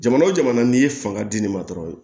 Jamana o jamana n'i ye fanga di ne ma dɔrɔn